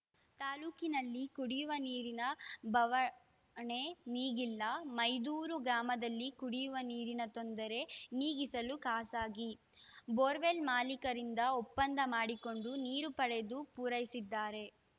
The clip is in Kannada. ತಾಲೂಕಿನಲ್ಲಿ ಕುಡಿವ ನೀರಿನ ಬವಣೆ ನೀಗಿಲ್ಲ ಮೈದೂರು ಗ್ರಾಮದಲ್ಲಿ ಕುಡಿವ ನೀರಿನ ತೊಂದರೆ ನೀಗಿಸಲು ಖಾಸಗಿ ಬೋರ್‌ವೆಲ್‌ ಮಾಲೀಕರಿಂದ ಒಪ್ಪಂದ ಮಾಡಿಕೊಂಡು ನೀರು ಪಡೆದು ಪೂರೈಸಿದ್ದಾರೆ